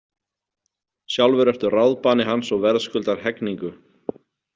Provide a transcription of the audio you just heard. Sjálfur ertu ráðbani hans og verðskuldar hegningu.